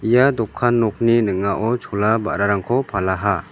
ia dokan nokni ning·ao chola ba·rarangko palaha.